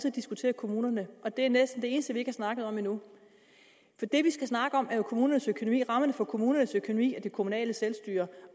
at diskutere kommunerne og det er næsten det eneste vi ikke har snakket om endnu for det vi skal snakke om er jo kommunernes økonomi rammerne for kommunernes økonomi og det kommunale selvstyre